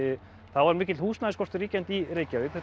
það var mikill húsnæðisskortur ríkjandi í Reykjavík